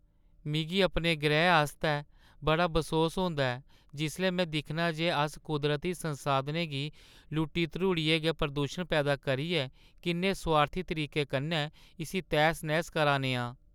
मिगी अपने ग्रैह् आस्तै बड़ा बसोस होंदा ऐ जिसलै में दिक्खनां जे अस कुदरती संसाधनें गी लुट्टी-धरूड़ियै ते प्रदूशन पैदा करियै किन्ने सोआर्थी तरीके कन्नै इस्सी तैह्‌स-नैह्‌स करा ने आं।